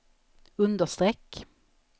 understreck